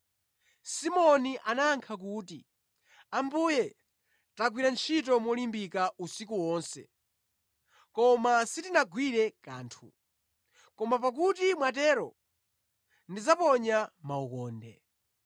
Simoni anayankha kuti, “Ambuye, tagwira ntchito molimbika usiku wonse, koma sitinagwire kanthu. Koma pakuti mwatero, ndiponya makhoka.”